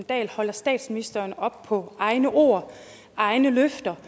dahl holder statsministeren op på hendes egne ord og egne løfter